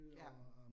Ja